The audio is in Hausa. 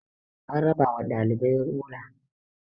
an raba wa ɗalibai rula